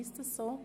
Ist dem so?